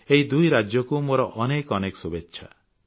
ଏହି ଦୁଇ ରାଜ୍ୟକୁ ମୋର ଅନେକ ଅନେକ ଶୁଭେଚ୍ଛା